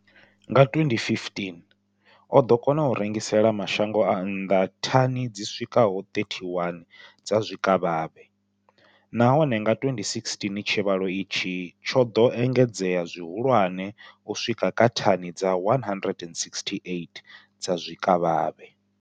Nga 2015, o ḓo kona u rengisela mashango a nnḓa thani dzi swikaho 31 dza zwikavhavhe, nahone nga 2016 tshivhalo itshi tsho ḓo engedzea zwihulwane u swika kha thani dza 168 dza zwikavhavhe.